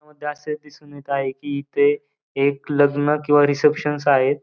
त्यामध्ये असे दिसून येत आहे. कि एक लग्न किंवा रिसेप्शन आहेत.